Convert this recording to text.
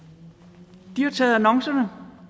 de har jo taget annoncerne